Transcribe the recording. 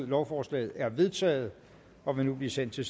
lovforslaget er vedtaget og vil nu blive sendt til